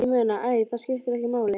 Ég meina. æ, það skiptir ekki máli